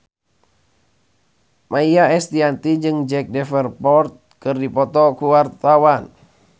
Maia Estianty jeung Jack Davenport keur dipoto ku wartawan